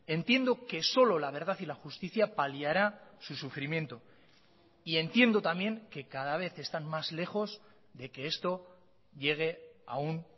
entiendo que solo la verdad y la justicia paliará su sufrimiento y entiendo también que cada vez están más lejos de que esto llegue a un